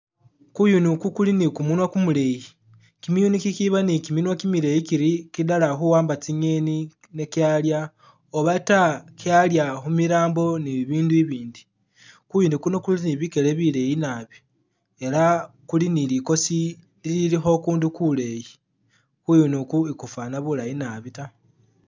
GuyunI Ugu guli ni gumunwa gumuleyi, gimiyuni gigiba ni giminwa gimileyi giri gidala kuwamba zingeni ne gyalya oba taa gyalya kumilambo ni Ibindu ibindi guyuni guno guli ni bigele bileyi naabi ela guli ni ligosi lilikho gundu guleyi guyuni gu e'gufanana bulayi naabi ta.